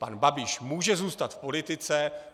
Pan Babiš může zůstat v politice.